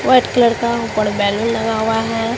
White colour का ऊपर balloon लगा हुआ है।